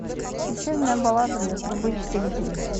печальная баллада для трубы четыре кей